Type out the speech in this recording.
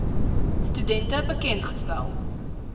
studente bekend gestel